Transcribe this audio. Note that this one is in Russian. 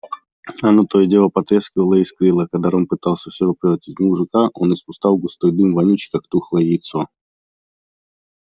она то и дело потрескивала и искрила а когда рон пытался все же превратить жука он испускал густой дым вонючий как тухлое яйцо